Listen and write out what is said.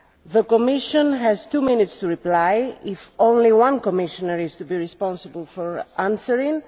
The Commission has two minutes to reply if only one Commissioner is to be responsible for answering.